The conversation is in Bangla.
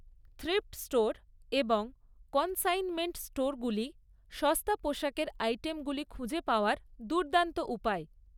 থ্রিফ্ট স্টোর এবং কনসাইনমেন্ট স্টোরগুলি সস্তা পোশাকের আইটেমগুলি খুঁজে পাওয়ার দুর্দান্ত উপায়।